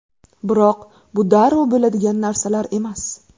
Biroq bu darrov bo‘ladigan narsalar emas.